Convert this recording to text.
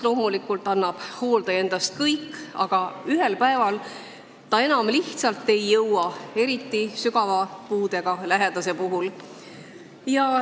Loomulikult annab hooldaja endast kõik, aga ühel päeval ta enam lihtsalt ei jõua, eriti sügava puudega lähedase puhul.